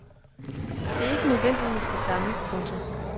Det er ikke nødvendigvis det samme. punktum